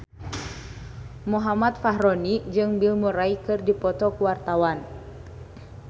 Muhammad Fachroni jeung Bill Murray keur dipoto ku wartawan